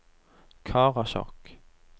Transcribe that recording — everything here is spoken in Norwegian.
Karasjok